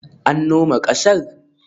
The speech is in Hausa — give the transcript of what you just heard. An noma ƙasar?